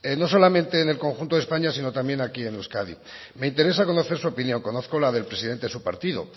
no solamente en el conjunto de españa sino también aquí en euskadi me interesa conocer su opinión conozco la del presidente de su partido